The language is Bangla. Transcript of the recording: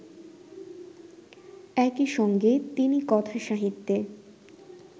একই সঙ্গে তিনি কথাসাহিত্যে